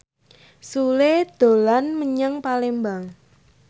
Sule dolan menyang Palembang